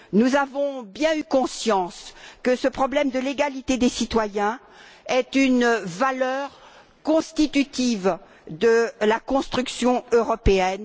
Nous avons bien eu conscience que ce problème de l'égalité des citoyens est une valeur constitutive de la construction européenne.